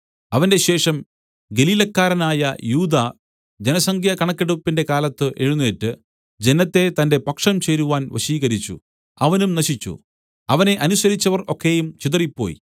അവന്റെ ശേഷം ഗലീലക്കാരനായ യൂദാ ജനസംഖ്യ കണക്കെടുപ്പിന്റെ കാലത്ത് എഴുന്നേറ്റ് ജനത്തെ തന്റെ പക്ഷം ചേരുവാൻ വശീകരിച്ചു അവനും നശിച്ചു അവനെ അനുസരിച്ചവർ ഒക്കെയും ചിതറിപ്പോയി